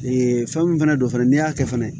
Ee fɛn min fɛnɛ don fɛnɛ n'i y'a kɛ fɛnɛ